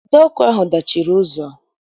Ide ọkụ ahụ dachiri ụzọ